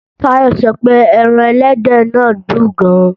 Táyọ̀ sọ pé ẹran ẹlẹ́dẹ̀ náà dùn gan